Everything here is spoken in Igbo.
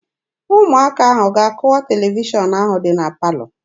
Ụmụaka ahụ ga-akụwa televishọn ahụ dị na palọ.